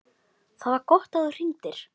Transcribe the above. ÞAÐ VAR GOTT AÐ ÞÚ HRINGDIR.